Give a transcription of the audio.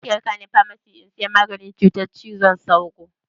Zaki raka ni famasi in sai maganin cutar cizon sauro?